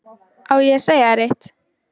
Á ég að segja þér eitt?